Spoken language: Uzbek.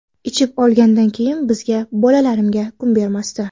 Ichib olgandan keyin bizga, bolalarimga kun bermasdi.